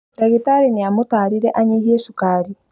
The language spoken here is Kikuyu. Ndagĩtarĩ nĩamũtarire anyihie cukari